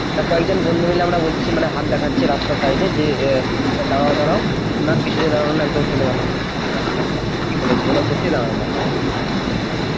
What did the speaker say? তো কয়েকজন বন্ধু মিলে আমরা বলছি মানে হাত দেখছি রাস্তায় side এ যে আহ দাঁড়াও দাঁড়াও তো না কিছুতেই দাড়ালোনা চলে গেলো এরকম বব্যাপার ঠিকই বলেছো সত্যি দাঁড়াইনা বাস গুলো state বাস